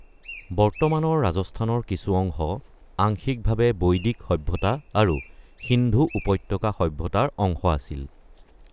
বৰ্তমানৰ ৰাজস্থানৰ কিছু অংশ আংশিকভাৱে বৈদিক সভ্যতা আৰু সিন্ধু উপত্যকা সভ্যতাৰ অংশ আছিল।